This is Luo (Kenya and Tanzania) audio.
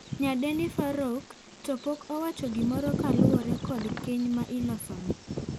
Nyadendi Farouq to pok owacho gimoro kaluore kod keny ma iloseno,